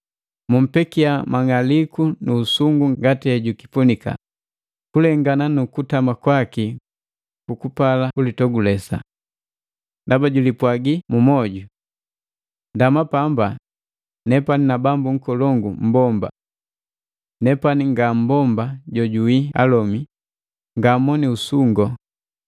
Mumpekia mang'aliku nu usungu ngati hejukipunika, kulengana nu kutama kwaki kukupala kulitogulesa. Ndaba julipwagi mu moju: ‘Ndama pamba, nepani na bambu nkolongu mmbomba! Nepani nga mmbomba joawii alome, Ngamoni usungo!’